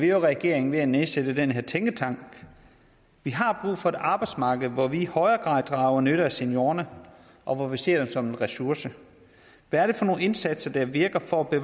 i regering ved at nedsætte den her tænketank vi har brug for et arbejdsmarked hvor vi i højere grad drager nytte af seniorerne og hvor vi ser dem som en ressource hvad er det for nogle indsatser der virker for at